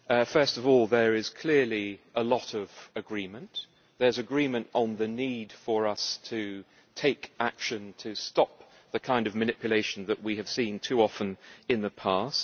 First of all, there is clearly a lot of agreement there is agreement on the need for us to take action to stop the kind of manipulation that we have seen too often in the past